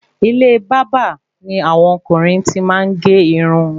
Ilé bàbá ni àwọn ọkùnrin tí maá ge irun